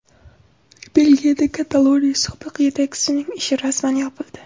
Belgiyada Kataloniya sobiq yetakchisining ishi rasman yopildi.